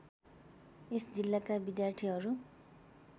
यस जिल्लाका विद्यार्थीहरू